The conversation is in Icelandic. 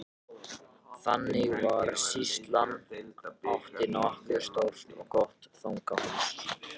Þannig var að sýslan átti nokkuð stórt og gott fangahús.